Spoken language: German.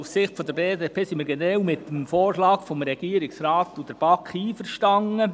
Aus Sicht der BDP sind wir generell mit dem Vorschlag des Regierungsrates und der BaK einverstanden.